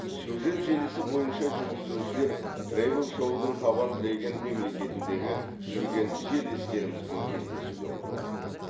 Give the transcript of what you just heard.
сюжет желісі бойынша жүргізушілер тревел шоудың табан тіреген мемлекетіндегі жүрген жерлестерімізбен кездесуге ұмтылады